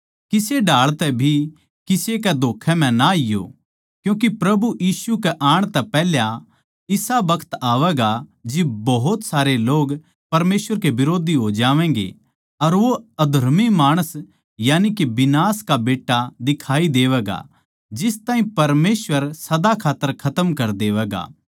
किसे ढाळ तै भी किसे कै धोक्खे म्ह ना आइयो क्यूँके प्रभु यीशु के आण तै पैहले इसा बखत आवैगा जिब भोत सारे लोग परमेसवर के बिरोधी हो जावैंगे अर वो अधर्मी माणस यानिके विनाश का बेट्टा दिखाई देवैगा जिस ताहीं परमेसवर सदा खात्तर खतम कर देवैगा